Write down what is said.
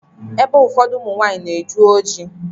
Ébé ụfọdụ ụmụnwanyị na-eji oji.